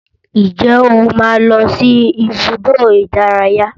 Ǹjẹ́ o máa ń lọ sí ibùdó ìdárayá?